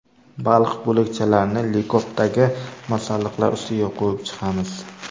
Baliq bo‘lakchalarini likopdagi masalliqlar ustiga qo‘yib chiqamiz.